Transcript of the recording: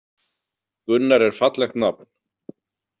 Gunnar er fallegt nafn.